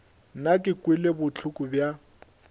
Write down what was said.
nna ke kwele bohloko bja